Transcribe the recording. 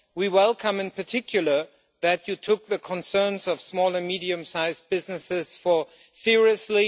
We welcome in particular that you took the concerns of small and medium sized businesses seriously.